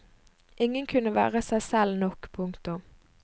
Ingen kunne være seg selv nok. punktum